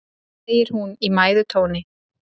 segir hún í mæðutóni.